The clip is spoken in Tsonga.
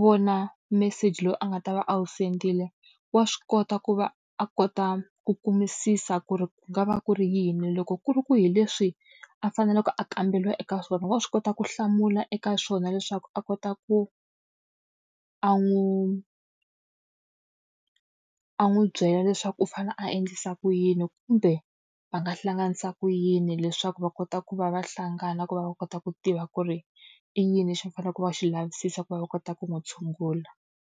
vona meseji lowu a nga ta va a wu send-ile, wa swi kota ku va a kota ku kumisisa ku ri ku nga va ku ri yini. Loko ku ri ku hi leswi a faneleke a kamberiwa eka swona, wa swi kota ku hlamula eka swona leswaku a kota ku a n'wi a n'wi byela leswaku u fanele a endlisa ku yini kumbe, va nga hlanganisa ku yini leswaku va kota ku va va hlangana ku va va kota ku tiva ku ri i yini lexi va fanele ku va va xi lavisisa ku va va kota ku n'wi tshungula.